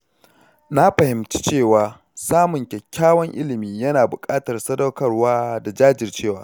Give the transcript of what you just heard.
Na fahimci cewa samun kyakkyawan ilimi yana buƙatar sadaukarwa da jajircewa.